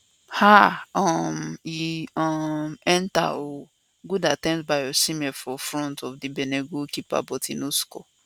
haaaaa um e um enta ooo good attempt by osimhen for front of di benin goalkeeper but e no score